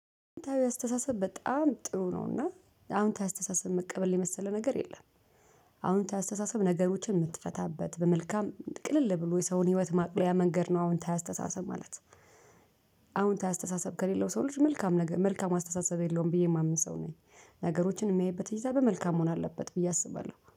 አወንታዊ አስተሳሰብ በጣም ጥሩ ነውና አሁን ታዊ አስተሳሰብ መቀበል የመሰለ ነገር የለም። አወንታዊ አስተሳሰብ ነገሮችን ምትፈታበት በመልካም ቅልል ብሎ የሰውን ህይወት ማቅለያ መንገድ ነው አወታዊ አስተሳሰብ ማለት። አወንታዊ አስተሳሰብ ከሌለው ሰው ልጅ መልካም ነገር መልካም አስተሳሰብ የለውም ብዬ የማምን ሰው ነኝ። ነገሮችን ሚያይበት እይታ በመልካም መሆን አለበት ብዬ አስባለሁ።